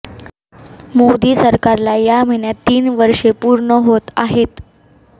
मोदी सरकारला या महिन्यात तीन वर्षे पूर्ण होत आहेत